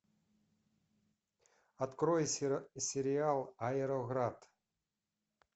открой сериал аэроград